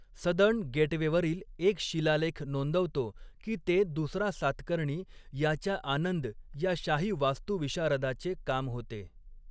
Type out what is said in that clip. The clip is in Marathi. सदर्न गेटवेवरील एक शिलालेख नोंदवतो की ते दुसरा सातकर्णी याच्या आनंद या शाही वास्तुविशारदाचे काम होते.